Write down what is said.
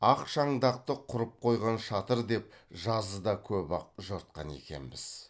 ақ шаңдақты құрып қойған шатыр деп жазыда көп ақ жортқан екенбіз